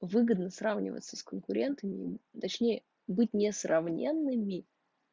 выгодно сравнивается с конкурентами точнее быть несравненными